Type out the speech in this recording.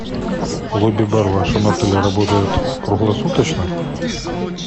лобби бар в вашем отеле работает круглосуточно